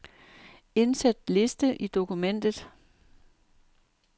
Indsæt liste i dokumentet.